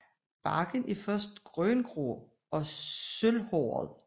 Barken er først grågrøn og sølvhåret